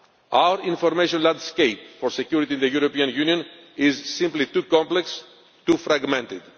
Our information landscape for security in the European Union is simply too complex, too fragmented.